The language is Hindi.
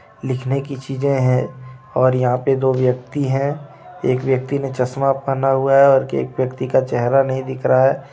लिखने की चीज़े हैं और यहाँ पे दो व्यक्ति हैं एक व्यक्ति ने चश्मा पहना हुआ हे और एक व्यक्ति का चेहरा नहीं दिख रहा है.